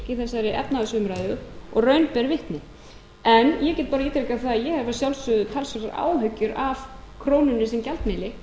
í þessari efnahagsumræðu og raun ber vitni en ég get bara ítrekað það að ég hef að sjálfsögðu talsverðar